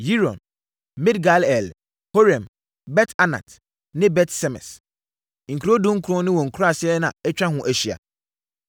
Yiron, Midgal-el, Horem, Bet-Anat ne Bet-Semes. Nkuro dunkron ne wɔn nkuraaseɛ na atwa ho ahyia.